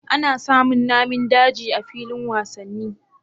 Ana samin Namin daji a filin wasanni